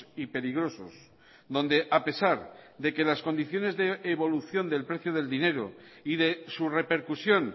y peligrosos donde a pesar de que las condiciones de evolución del precio del dinero y de su repercusión